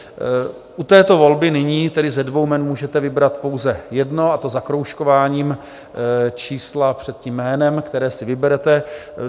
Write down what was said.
U této volby nyní tedy ze dvou jmen můžete vybrat pouze jedno, a to zakroužkováním čísla před tím jménem, které si vyberete.